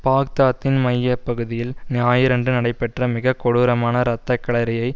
பாக்தாத்தின் மைய பகுதியில் ஞாயிறன்று நடைபெற்ற மிக கொடூரமான இரத்தக்களரியை